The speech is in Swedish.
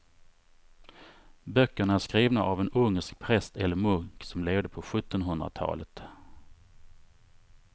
Böckerna är skrivna av en ungersk präst eller munk som levde på sjuttonhundratalet.